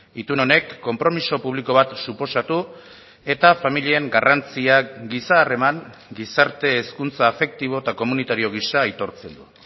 itun honek konpromiso publiko bat suposatu eta familien garrantziak giza harreman gizarte hezkuntza afektibo eta komunitario gisa aitortzen du